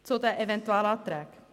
Nun zu den Eventualanträgen.